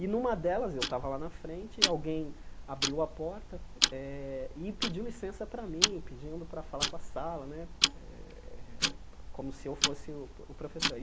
E, numa delas, eu estava lá na frente e alguém abriu a porta eh e pediu licença para mim, pedindo para falar com a sala né, como se eu fosse o o professor.